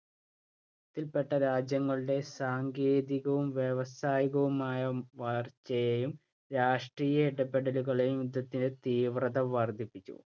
ത്തില്‍ പെട്ട രാജ്യങ്ങളുടെ സാങ്കേതികവും വ്യാവസായികവുമായ വളർച്ചയെയും രാഷ്ട്രിയ ഇടപെടലുകളേയും യുദ്ധത്തിന്‍റെ തീവ്രത വർദ്ധിപ്പിച്ചു.